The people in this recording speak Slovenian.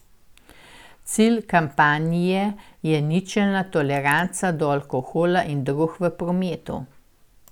Cilj kampanje je ničelna toleranca do alkohola in drog v prometu.